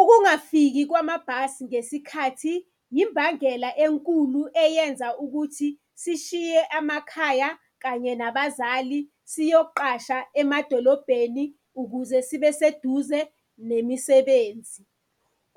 Ukungafiki kwamabhasi ngesikhathi, imbangela enkulu eyenza ukuthi sishiye amakhaya kanye nabazali siyoqasha emadolobheni ukuze sibe seduze nemisebenzi.